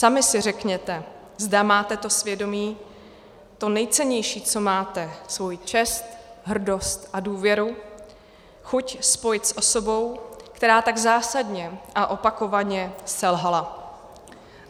Sami si řekněte, zda máte to svědomí, to nejcennější, co máte, svoji čest, hrdost a důvěru chuť, spojit s osobou, která tak zásadně a opakovaně selhala.